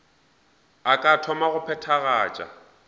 a ka thoma go phethagatša